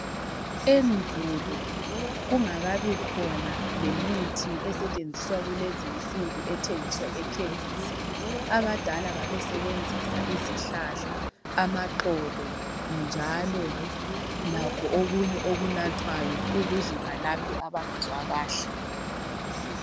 Endulo kungakabikhona lemithi esetshenziswa kulezinsuku ethengiswa ekhemisi. Abadala babesebenzisa izihlahla, amaxolo njalo lakho okunye okunathwayo ukuze balaphe abangezwa kahle.